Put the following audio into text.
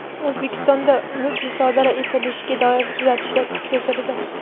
O‘zbekistonda mulk musodara etilishiga doir tuzatishlar kuchga kirdi.